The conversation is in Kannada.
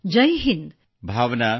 ತುಂಬ ಧನ್ಯವಾದಗಳು ಜೈ ಹಿಂದ್ ಸರ್